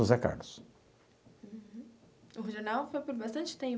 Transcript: José Carlos. Uhum o jornal foi por bastante tempo?